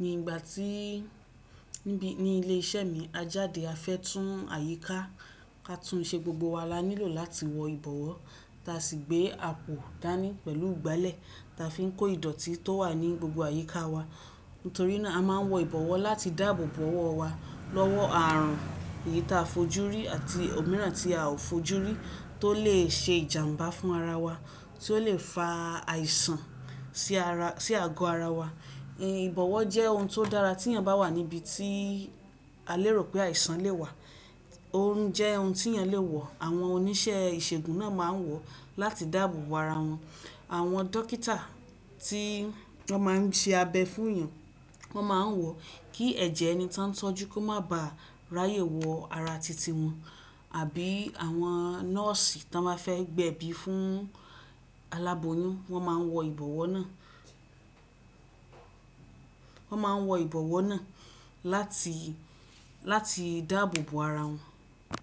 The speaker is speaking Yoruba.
ni ìgbà tí níbi ní ilé iṣẹ́ mi a jáde a fẹ́ tún àyíká ka tún ṣe gbogbo wa, a nílò láti wọ ìbọwọ́. Ta sì gbé àpò dání pẹ̀lú ìgbálẹ̀ ta fi n kó ìdọ̀tí tó wà ní gbogbo àyíká wa. Nítorí náà a máa n wọ ìbọwọ́ láti dáàbò bo ọwọ́ wa lọ́wọ́ ààrùn èyí ta a fojú rí àti òmíràn tí a ò fojú rí tó lè ṣe ìjàǹbá fún ara wa, tí ó lè fa àìsàn sí àgọ ara wa. Ìbọwọ́ jẹ́ ohun tó dára tí iyan bá wà níbi tí a lérò pé àìsàn lè wà. Òun jẹ́ ohun tí ẹni le wọ̀. Àwọn oníṣẹ́ ìṣègùn náà ma n wọ̀ láti dáàbò bo ara wọn. Àwọn dókítà tí wọ́n máa n ṣe abẹ fún èèyàn wọ́n máa n wọ̀ kí ẹ̀jẹ̀ ẹni tó n tọ́jú kó má ba à ráyè wọ ara titi wọn àbí àwọn nọ́ọ̀sì tí wọ́n bá fẹ́ gbẹ̀bí fún aláboyún wọ́n máa n wọ ìbọwọ́ náà. Wọ́n máa n wọ ìbọwọ́ náà láti dáàbò bo ara wọn.